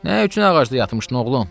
Nə üçün ağacda yatmışdın, oğlum?